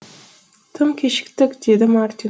тым кешіктік деді мартин